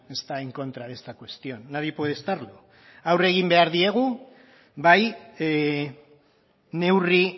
está en contra de esta cuestión nadie puede estarlo aurre egin behar diegu bai neurri